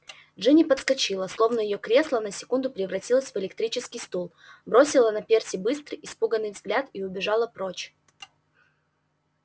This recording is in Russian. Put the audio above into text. джинни подскочила словно её кресло на секунду превратилось в электрический стул бросила на перси быстрый испуганный взгляд и убежала прочь